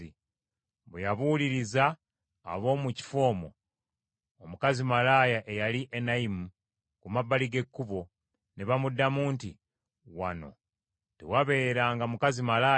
Bwe yabuuliriza ab’omu kifo omwo, omukazi malaaya eyali Enayimu ku mabbali g’ekkubo, ne bamuddamu nti, “Wano tewabeeranga mukazi malaaya.”